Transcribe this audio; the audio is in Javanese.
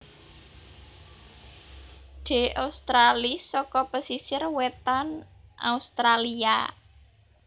D australis saka pesisir wétan Australia